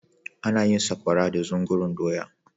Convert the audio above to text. ana yin sakwara da zungurun doya